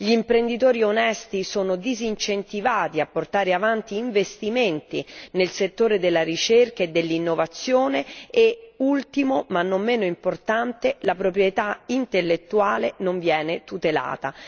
Gli imprenditori onesti sono disincentivati a portare avanti investimenti nel settore della ricerca e dell'innovazione e ultimo, ma non meno importante, la proprietà intellettuale non viene tutelata.